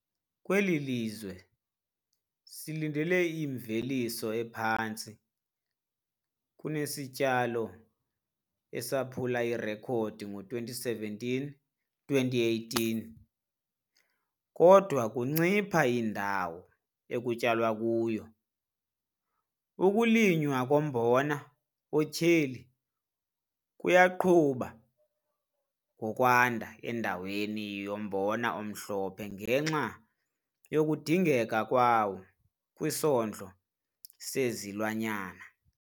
Kweli lizwe silindele imveliso ephantsi kunesityalo esaphula irekhodi ngo-2017-2018, kodwa kuncipha indawo ekulinywa kuyo. Ukulinywa kombona otyheli kuyaqhuba ngokwanda endaweni yombona omhlophe ngenxa yokudingeka kwawo kwisondlo sezilwanyana.